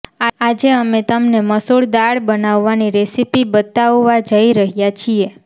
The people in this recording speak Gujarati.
આજે અમે તમને મસૂર દાળ બનાવવાની રેસીપી બતાવવા જઈ રહ્યા છીએ